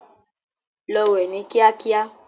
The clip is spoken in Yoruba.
Lọ wẹ ni kíákíá.